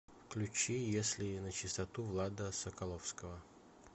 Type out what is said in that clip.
включи если начистоту влада соколовского